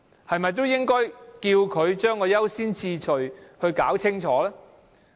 是否應該要求政府把優先次序弄清楚？